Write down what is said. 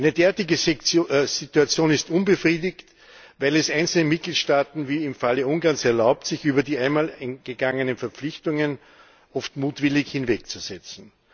Eine derartige Situation ist unbefriedigend, weil sie es einzelnen Mitgliedstaaten wie im Falle Ungarns erlaubt, sich über die einmal eingegangenen Verpflichtungen oft mutwillig hinwegzusetzen.